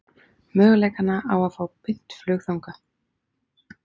Möguleikana á að fá beint flug þangað?